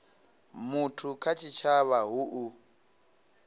muthu kha tshitshavha hu u